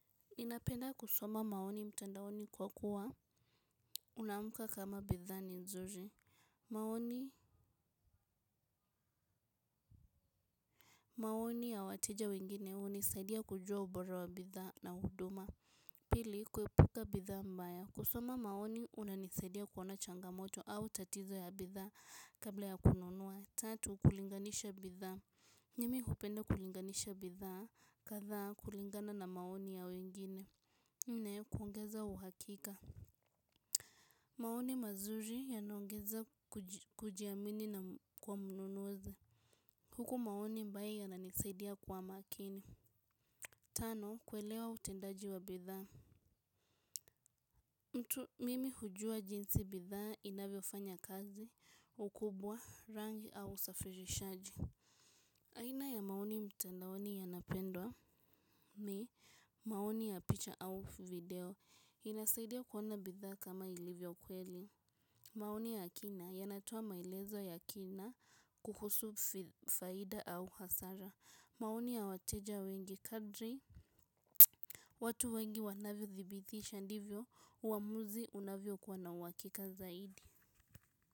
Ninapenda kusoma maoni mtandaoni kwa kuwa unaamka kama bidhaa ni nzuri. Maoni maoni ya wateja wengine unisaidia kujua ubora wa bidhaa na huduma pili kuepuka bidhaa mbaya kusoma maoni unanisaidia kuona changamoto au tatizo ya bidhaa kabla ya kununua tatu kulinganisha bidhaa mimi hupenda kulinganisha bidhaa kadhaa kulingana na maoni ya wengine nne kuongeza uhakika maoni mazuri yanaongeza kujiamini na kwa mnunuzi huku maoni ambaye yananisaidia kwa makini tano, kuelewa utendaji wa bidhaa mtu mimi hujua jinsi bidhaa inavyo fanya kazi, ukubwa, rangi au usafirishaji aina ya maoni mtandaoni yanapendwa ni maoni ya picha au video inasaidia kuona bidhaa kama ilivyo kweli maoni ya kina yanatoa mailezo ya kina kuhusu faida au hasara. Maoni ya wateja wengi kadri. Watu wengi wanavyo thibitisha ndivyo uamuzi unavyo kua na uhakika zaidi.